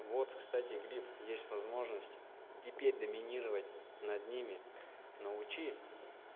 вот кстати глиф есть возможность и теперь доминировать над ними научи